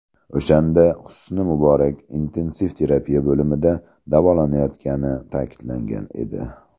O‘shanda Husni Muborak intensiv terapiya bo‘limida davolanayotgani ta’kidlangan edi.